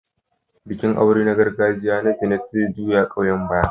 Bikin aure na gargajiya na Janet zai juya ƙauyen baya.